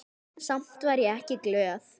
Samt var ég ekki glöð.